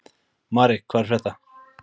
Mari, hvað er að frétta?